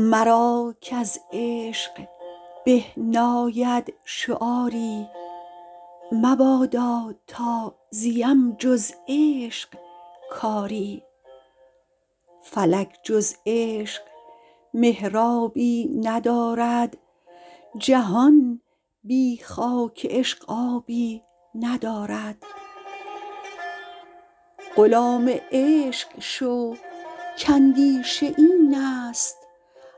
مرا کـز عشق به ناید شعاری مبادا تا زیم جز عشق کاری فلک جز عشق محرابی ندارد جهان بی خاک عشق آبی ندارد غلام عشق شو کاندیشه این است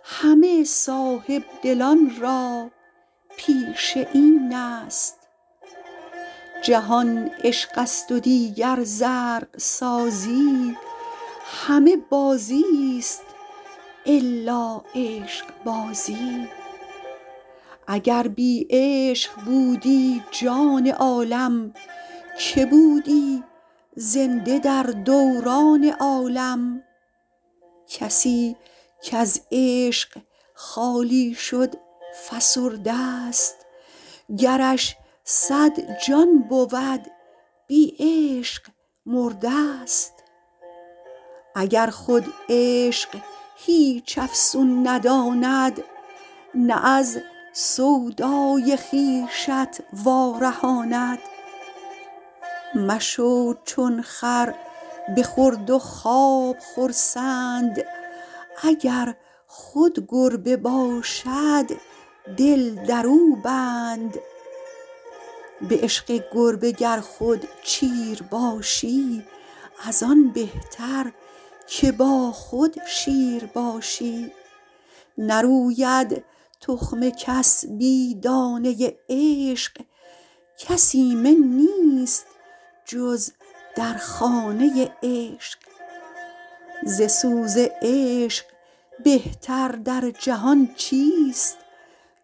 همه صاحب دلان را پیشه این است جهان عشقست و دیگر زرق سازی همه بازیست الا عشقبازی اگر بی عشق بودی جان عالم که بودی زنده در دوران عالم کسی کز عشق خالی شد فسرده ست گرش صد جان بود بی عشق مرده ست اگر خود عشق هیچ افسون نداند نه از سودای خویشت وا رهاند مشو چون خر به خورد و خواب خرسند اگر خود گربه باشد دل درو بند به عشق گربه گر خود چیر باشی از آن بهتر که با خود شیر باشی نروید تخم کس بی دانه عشق کس ایمن نیست جز در خانه عشق ز سوز عشق بهتر در جهان چیست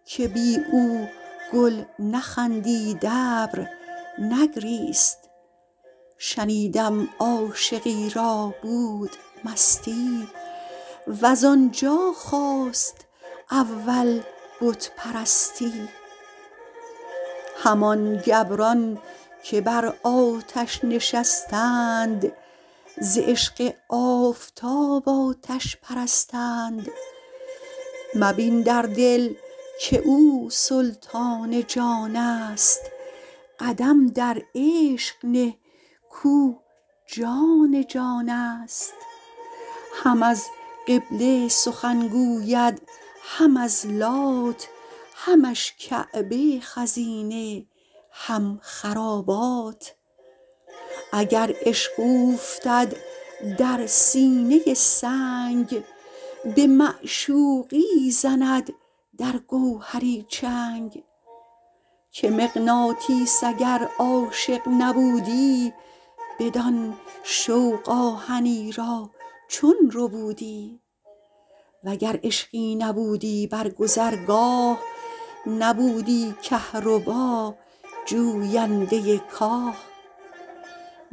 که بی او گل نخندید ابر نگریست شنیدم عاشقی را بود مستی وز آنجا خاست اول بت پرستی همان گبران که بر آتش نشستند ز عشق آفتاب آتش پرستند مبین در دل که او سلطان جانست قدم در عشق نه کاو جان جانست هم از قبله سخن گوید هم از لات همش کعبه خزینه هم خرابات اگر عشق اوفتد در سینه سنگ به معشوقی زند در گوهری چنگ که مغناطیس اگر عاشق نبودی بدان شوق آهنی را چون ربودی و گر عشقی نبودی بر گذرگاه نبودی کهربا جوینده کاه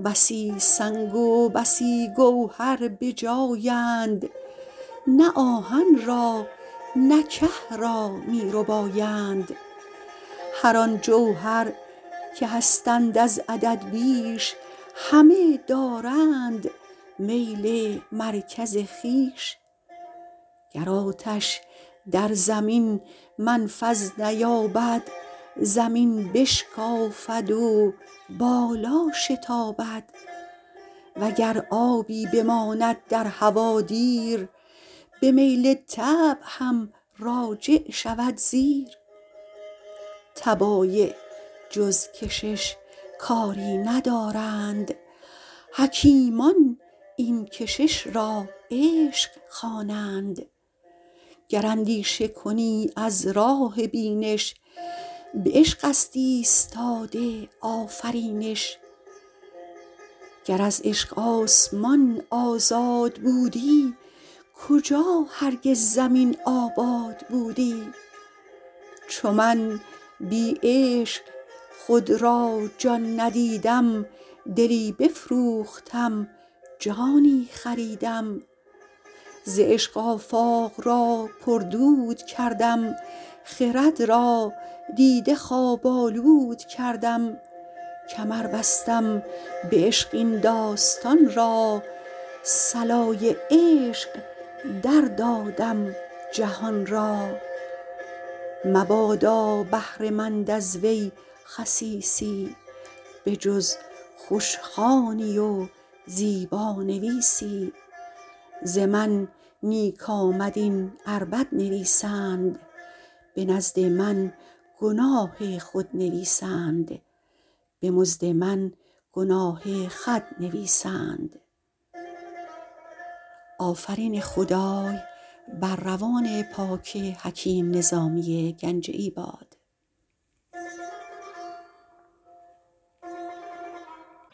بسی سنگ و بسی گوهر بجایند نه آهن را نه که را می ربایند هران جوهر که هستند از عدد بیش همه دارند میل مرکز خویش گر آتش در زمین منفذ نیابد زمین بشکافد و بالا شتابد و گر آبی بماند در هوا دیر به میل طبع هم راجع شود زیر طبایع جز کشش کاری ندانند حکیمان این کشش را عشق خوانند گر اندیشه کنی از راه بینش به عشق است ایستاده آفرینش گر از عشق آسمان آزاد بودی کجا هرگز زمین آباد بودی چو من بی عشق خود را جان ندیدم دلی بفروختم جانی خریدم ز عشق آفاق را پردود کردم خرد را دیده خواب آلود کردم کمر بستم به عشق این داستان را صلای عشق در دادم جهان را مبادا بهره مند از وی خسیسی به جز خوشخوانی و زیبانویسی ز من نیک آمد این ار بد نویسند به مزد من گناه خود نویسند